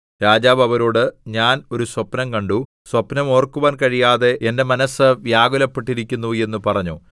രാജാവ് അവരോട് ഞാൻ ഒരു സ്വപ്നം കണ്ടു സ്വപ്നം ഓർക്കുവാൻ കഴിയാതെ എന്റെ മനസ്സ് വ്യാകുലപ്പെട്ടിരിക്കുന്നു എന്ന് പറഞ്ഞു